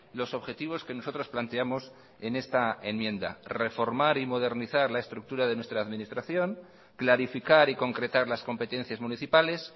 los objetivos que nosotros planteamos en esta enmienda reformar y modernizar la estructura de nuestra administración clarificar y concretar las competencias municipales